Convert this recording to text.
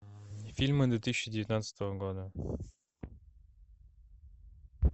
фильмы две тысячи девятнадцатого года